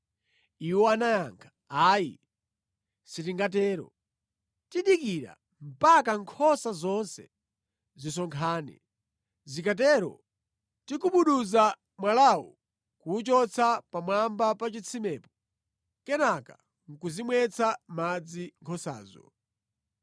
Iwo anayankha, “Ayi sitingatero. Tidikira mpaka nkhosa zonse zisonkhane. Zikatero, tigubuduza mwalawu kuwuchotsa pamwamba pa chitsimepo, kenaka nʼkuzimwetsa madzi nkhosazo.”